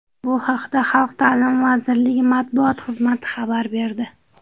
Bu haqda Xalq ta’limi vazirligi matbuot xizmati xabar berdi .